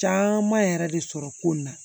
Caman yɛrɛ de sɔrɔ ko in na